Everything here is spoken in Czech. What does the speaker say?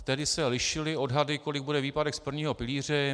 Tehdy se lišily odhady, kolik bude výpadek z prvního pilíře.